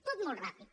tot molt ràpid